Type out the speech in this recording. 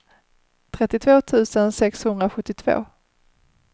trettiotvå tusen sexhundrasjuttiotvå